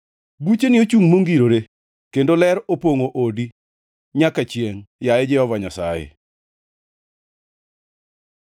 Bucheni ochungʼ mongirore; kendo ler opongʼo odi, nyaka chiengʼ, yaye Jehova Nyasaye.